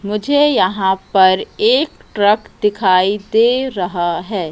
मुझे यहां पर एक ट्रक दिखाई दे रहा है।